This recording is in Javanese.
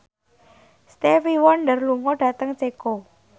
Stevie Wonder lunga dhateng Ceko